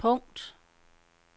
punkt